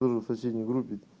тоже в соседней группе